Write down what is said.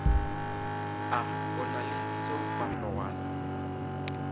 a o na le seopahlogwana